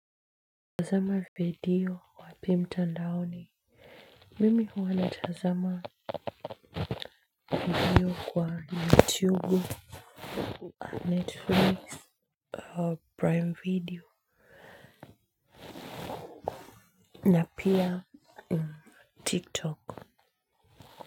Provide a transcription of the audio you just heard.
Tazama video wapi mtandaoni. Mimi huwana tazama video kwa YouTube, Netflix, Prime video, na pia TikTok.